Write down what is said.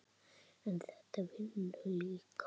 en þetta vinnur líka.